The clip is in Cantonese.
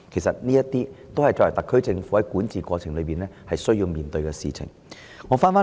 凡此種種，皆是特區政府在管治過程中需面對的事情。